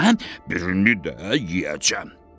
Bürünü də yeyəcəm.